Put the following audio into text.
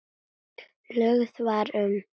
Lögð var um